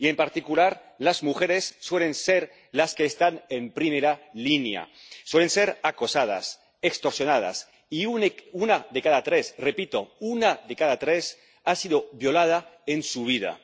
Y, en particular, las mujeres suelen ser las que están en primera línea suelen ser acosadas, extorsionadas y una de cada tres —repito una de cada tres— ha sido violada alguna vez en su vida.